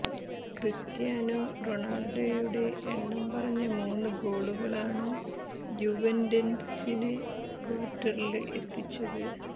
Cristiano റൊണാള്ഡോയുടെ എണ്ണം പറഞ്ഞ മൂന്ന് ഗോളുകളാണ് യുവന്റസിനെ ക്വാര്ട്ടറില് എത്തിച്ചത്